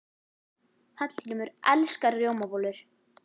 Hallgrímur elskar rjómabollur.